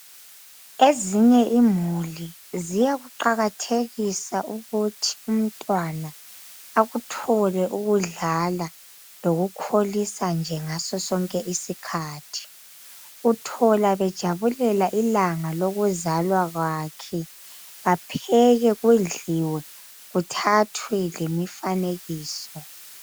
Ezinye imuli ziyakuqakathekisa ukuthi umntwana akuthole ukudlala lokukholisa ngaso sonke isikhathi uthola bejabulela ilanga lokuzalwa kwakhe bapheke kudliwe kuthathwe lemifanekiso.